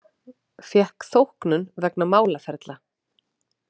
Fékk þóknun vegna málaferla